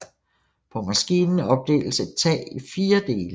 På maskinen opdeles et tag i 4 dele